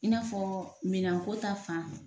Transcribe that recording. I n'a fɔ minan ko ta fan